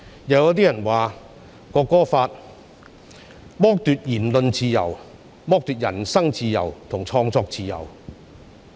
又有人說《國歌法》剝奪言論自由、人身自由及創作自由。